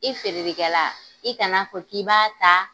I feerelikɛla, i kana fɔ k'i b'a taa